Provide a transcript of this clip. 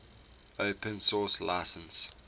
open source license